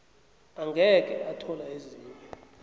angeke athola ezinye